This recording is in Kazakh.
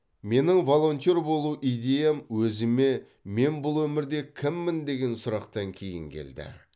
менің волонтер болу идеям өзіме мен бұл өмірде кіммін деген сұрақтан кейін келді